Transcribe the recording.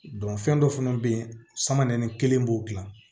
fɛn dɔ fana bɛ yen sama nɛnɛ kelen b'o dilan